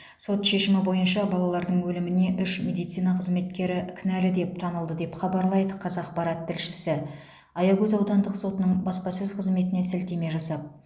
сот шешімі бойынша балалардың өліміне үш медицина қызметкері кінәлі деп танылды деп хабарлайды қазақпарат тілшісі аягөз аудандық сотының баспасөз қызметіне сілтеме жасап